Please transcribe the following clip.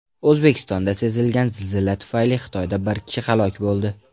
O‘zbekistonda sezilgan zilzila tufayli Xitoyda bir kishi halok bo‘ldi.